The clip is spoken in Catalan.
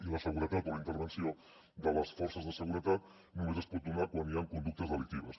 i la seguretat o la intervenció de les forces de seguretat només es pot donar quan hi han conductes delictives